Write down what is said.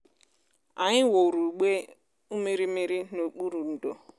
anyị wuru igbe ụmụrịmịrị n'okpuru ndò.